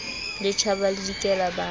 le tjhaba le dikela ba